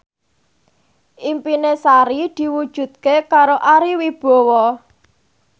impine Sari diwujudke karo Ari Wibowo